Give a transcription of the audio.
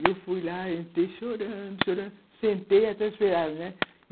E eu fui lá, entrei chorando, chorando, sentei e até esperava, né?